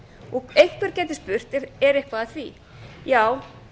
og einhver gæti spurt er eitthvað að því já